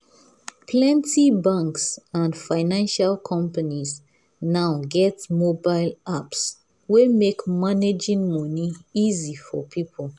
plenty banks and financial companies now get mobile apps wey make managing money easy for people.